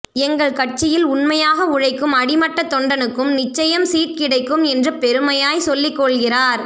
எங்க கட்சியில் உண்மையாக உழைக்கும் அடி மட்ட தொண்டனுக்கும் நிச்சயம் சீட் கிடைக்கும் என்று பெருமையாய் சொல்லிக் கொள்கிறார்